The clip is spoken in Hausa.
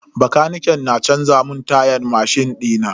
Bakaniken na canza mun tayan mashin dina.